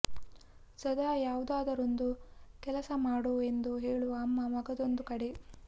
ಸದಾ ಯಾವುದಾದರೊಂದು ಕೆಲಸ ಮಾಡೋ ಎಂದು ಹೇಳುವ ಅಮ್ಮ ಮಗದೊಂದು ಕಡೆ